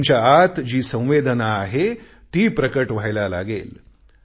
तुमच्या आत जी संवेदना आहे ती प्रकट व्हायला लागेल